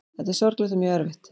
Þetta er sorglegt og mjög erfitt